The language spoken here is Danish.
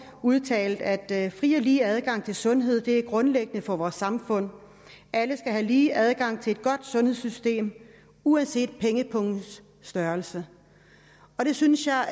udtalte at fri og lige adgang til sundhed er grundlæggende for vores samfund alle skal have lige adgang til et godt sundhedssystem uanset pengepungens størrelse det synes jeg